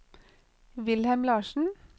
Wilhelm Larssen